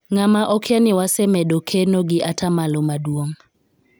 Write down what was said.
ng'ama okia ni wasemedo keno gi atamalo maduong'